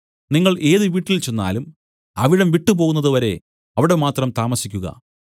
നിങ്ങൾ ഏത് വീട്ടിൽ ചെന്നാലും അവിടം വിട്ടുപോകുന്നതുവരെ അവിടെ മാത്രം താമസിക്കുക